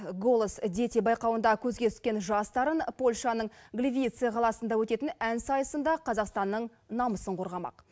голос дети байқауында көзге түскен жас дарын польшаның гливице қаласында өтетін ән сайысында қазақстанның намысын қорғамақ